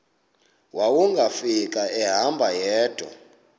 wawungafika ehamba yedwa